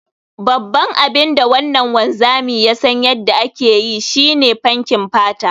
Babban abin da wannan wanzami ya san yadda ake yi, shi ne fenkin fata